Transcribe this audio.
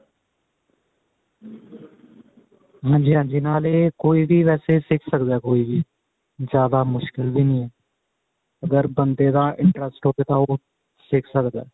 ਹਾਂਜੀ ਹਾਂਜੀ ਨਾਲ ਇਹ ਕੋਈ ਵੇਸੇ ਸਿਖ ਸਕਦਾ ਕੋਈ ਵੀ ਜਿਆਦਾ ਮੁਸ਼ਕਿਲ ਵੀ ਨਹੀਂ ਅਗ ਬੰਦੇ ਦਾ interest ਹੋਵੇ ਤਾਂ ਉਹ ਸਿਖ ਸਕਦਾ